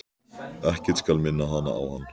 Ekkert skal minna hana á hann.